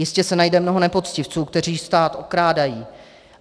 Jistě se najde mnoho nepoctivců, kteří stát okrádají.